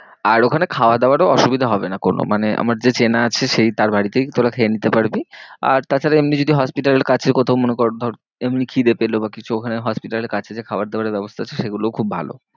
আর ওখানে খাওয়া দাওয়ারও অসুবিধা হবে না কোনো মানে আমার যে চেনা আছে সেই তার বাড়িতেই তোরা খেয়ে নিতে পারবি। আর তাছাড়া এমনি যদি hospital এর কাছে কোথাও মনে কর ধর এমনি খিদে পেলো বা কিছু ওখানে hospital এর কাছে যে খাবার দাবারের ব্যবস্থা আছে সেগুলো খুব ভালো।